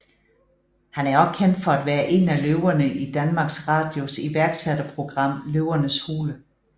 Han er også kendt for at være en af løverne i Danmarks Radios iværksætterprogram Løvens Hule